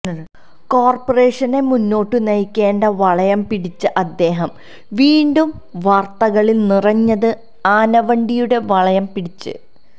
കോർപ്പറേഷനെ മുന്നോട്ടു നയിക്കേണ്ട വളയം പിടിച്ച അദ്ദേഹം വീണ്ടും വാർത്തകളിൽ നിറഞ്ഞത് ആനവണ്ടിയുടെ വളയം പിടിച്